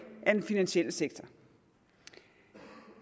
af den finansielle sektor